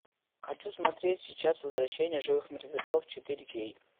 хочу смотреть сейчас возвращение живых мертвецов четыре кей